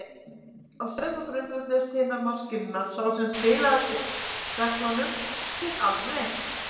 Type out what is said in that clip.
Á sömu reglu grundvölluðust hinar maskínurnar: sá sem spilaði eftir reglunum fékk aldrei neitt.